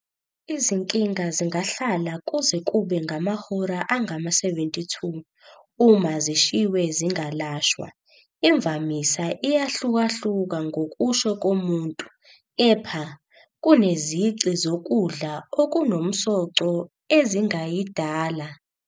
Izinkinga zingahlala kuze kube ngamahora angama-72 uma zishiywe zingalashwaa, imvamisa iyahlukahluka ngokusho komuntu, kepha, kunezici zokudla okunomsoco ezingayidala.